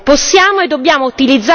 Questo è il nostro lavoro.